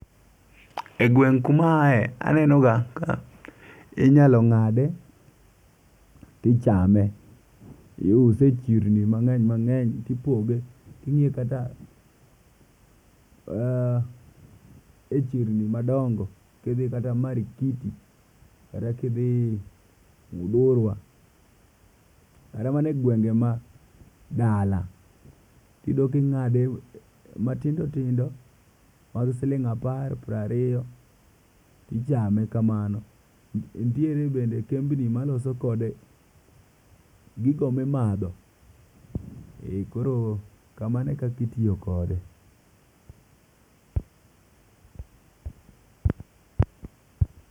E gweng' kuma a ae aneno ga inyalo ng'ade tichame. Iuse e chirni mang'eny mang'eny tipoge. King'iyo kata e chirni madongo ti dhi kata Markiti kata kidhi Mudhurwa. Kata mana e gwenge ma dala. Ti dok ing'ade matindo tindo mag siling apar, pireo ariyo tichame kamano. Nitiere bende kembni maloso kode gigo mimadho. Koro kamano e kaka itiyokode.